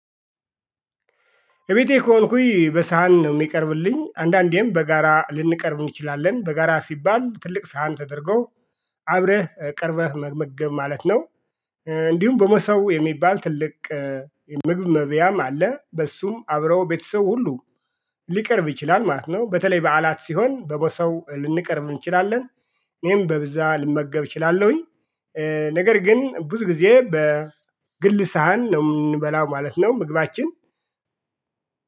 እቤቴ ከሆንኩኝ በሳህን ነው የሚቀርብልኝ አንዳንዴም በጋራ ልንቀርብ እንችላለን በጋራ ሲባል ትልቅ ሳህን ተደርጎ አብረህ ቀርበህ መመገብ ማለት ነው። እንዲሁም በመሶብ የሚባል ትልቅ ምግብ መብያም አለ በሱም አብረው ቤተሰብ ሁሉ ሊቀርብ ይችላል ማለት ነው። በተለይ በዓላት ሲሆን በምሶብ ልንቀርብ እንችላለን። እኔም በብዛ ልመገብ እችላለሁኝ ነገር ግን ብዙ ጊዜ በግል ሳህን ነው የምንበላው ማለት ነው። ምግባችን